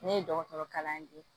Ne ye dɔgɔtɔrɔ kalan ye